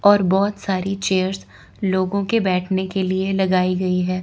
और बहुत सारी चेयरस लोगों के बैठने के लिए लगाई गई है।